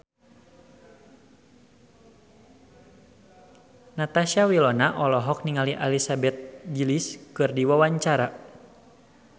Natasha Wilona olohok ningali Elizabeth Gillies keur diwawancara